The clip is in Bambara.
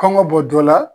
Kɔngɔ bɔ jɔ la